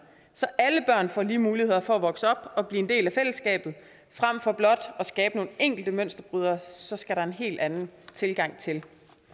så alle børn får lige muligheder for at vokse op og blive en del af fællesskabet frem for blot at skabe nogle enkelte mønsterbrydere så skal der være en helt anden tilgang til det